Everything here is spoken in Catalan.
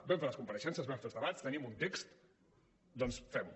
vam fer les compareixences vam fer els debats tenim un text doncs fem ho